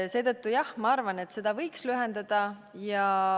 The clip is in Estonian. Seetõttu, jah, ma arvan, et seda võiks lühendada.